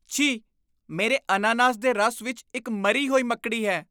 ਛੀ! ਮੇਰੇ ਅਨਾਨਾਸ ਦੇ ਰਸ ਵਿੱਚ ਇੱਕ ਮਰੀ ਹੋਈ ਮੱਕੜੀ ਹੈ।